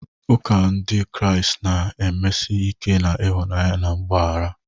Ụka Ndị Kraịst na-emesi ike na ịhụnanya na mgbaghara.